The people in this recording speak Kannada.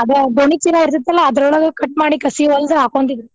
ಅದ ಗೋಣಿಚೀಲಾ ಇರ್ತೆತಲ್ಲಾ ಅದ್ರೋಳಗ cut ಮಾಡಿ ಕಸಿ ಹೊಲ್ದ್ ಹಾಕ್ಕೊಂತಿದ್ರ್.